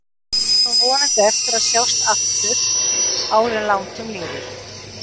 Við eigum vonandi eftir að sjást aftur áður en langt um líður.